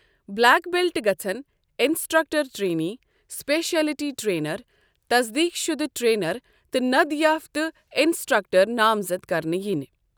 Black belt گژھن instructor trainee, specialty trainer, تصدیٖق شُدٕ ٹٛرینَر تہٕ ند یافتہٕ اِنسٹرکٹَر نامزد كرنہٕ یِنہِ ۔